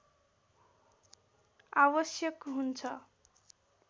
आवश्यक हुन्छ